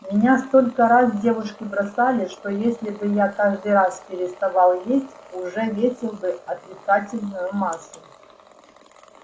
меня столько раз девушки бросали что если бы я каждый раз переставал есть уже весил бы отрицательную массу